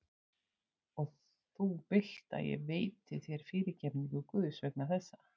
Og þú vilt að ég veiti þér fyrirgefningu Guðs vegna þessa?